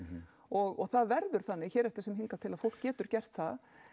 og það verður þannig hér eftir sem hingað til að fólk getur gert það